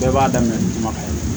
Bɛɛ b'a daminɛ ni kumakan ye